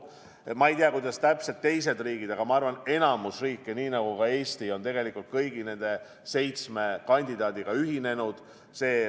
Ma ei tea, kuidas täpselt teised riigid teevad, aga ma arvan, enamik riike, nii nagu ka Eesti, on tegelikult kõigi nende seitsme vaktsiinikandidaadi eeltellimusega ühinenud.